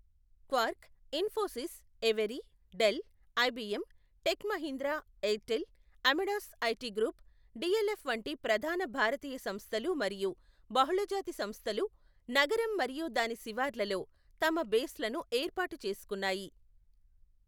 Quark, Infosys, ఎవరీ, Dell, IBM, Tech Mahindra, Airtel, Amadeus IT group, DLF వంటి ప్రధాన భారతీయ సంస్థలు మరియు బహుళజాతి సంస్థలు నగరం మరియు దాని శివార్లలో తమ బేస్లను ఏర్పాటు చేసుకున్నాయి.